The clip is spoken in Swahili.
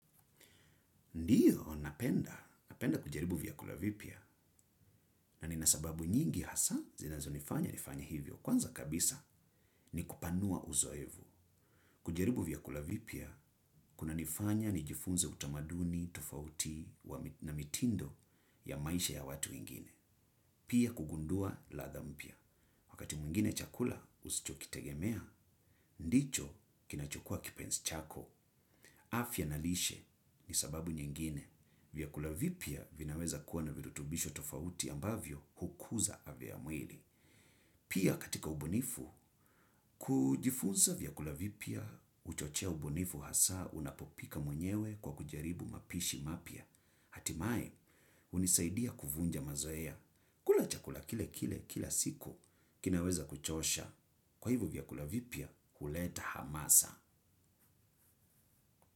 Ndiyo, napenda. Napenda kujaribu vyakula vipya na nina sababu nyingi hasa zinazo nifanya nifanye hivyo. Kwanza kabisa ni kupanua uzoevu. Kujaribu vyakula vipya, kuna nifanya ni jifunze utamaduni, tofauti na mitindo ya maisha ya watu wengine. Pia kugundua ladha mpya. Wakati mwingine chakula usichokitegemea, ndicho kinachukua kipezi chako. Afya na lishe ni sababu nyingine. Vyakula vipya vinaweza kuwa na virutubisho tofauti ambavyo hukuza afya ya mwili. Pia katika ubunifu, kujifunza vyakula vipya huchochea ubunifu hasa unapopika mwenyewe kwa kujaribu mapishi mapya. Hatimai, hunisaidia kuvunja mazoea. Kula chakula kile kile, kila siku, kinaweza kuchosha. Kwa hivo vyakula vipya, kuleta hamasa.